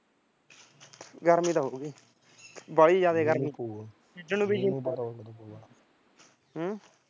ਗਰਮੀ ਤਾਂ ਹੋਗੀ ਬਾਹਲੀ ਜਿਆਦਾ ਗਰਮੀ ਹੋਗੀ ਖੇਡਣ ਨੂੰ ਵੀ ਜੀਅ ਨੀ ਹਮ